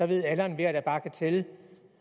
ved alle og enhver der bare kan tælle